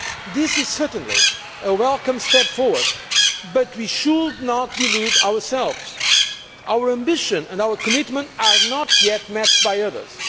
This is certainly a welcome step forward, but we should not delude ourselves our ambition and our commitment are not yet matched by others.